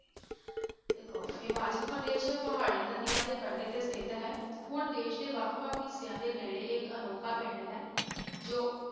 ਦੇਖੋ ਹਿਮਾਚਲ ਪ੍ਰਦੇਸ ਪਹਾੜੀ ਨਦੀਆਂ ਦੇ ਕੰਡੇ ਤੇ ਸਥਿੱਤ ਹੈ, ਹੁਣ ਦੇਸ ਦੇ ਵੱਖ ਵੱਖ ਹਿੱਸਿਆਂ ਦੇ ਨੇੜੇ ਇਹ ਇੱਕ ਅਨੋਖਾ ਪਿੰਡ ਹੈ ਜੋ